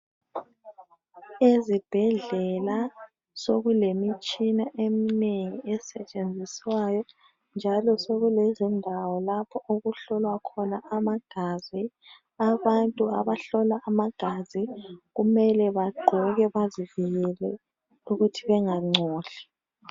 Ezibhedlela sokulemitshina eminengi esetshenziswayo njalo sokulezindawo lapho okuhlolwa khona amagazi abantu abahlola amagazi kumele bagqoke bazivikele ukuthi bengangcoli